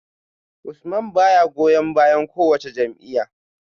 Usman baya goyon bayan kowace jam’iyya